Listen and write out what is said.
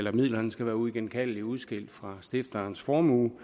at midlerne skal være uigenkaldeligt udskilt fra stifterens formue